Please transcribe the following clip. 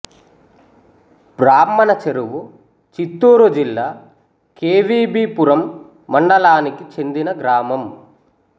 బ్రాహ్మణ చెరువు చిత్తూరు జిల్లా K V B Puram మండలానికి చెందిన గ్రామం